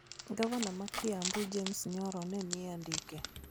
Gavana ma Kiambu James Nyoro ne ni e andike